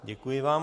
Děkuji vám.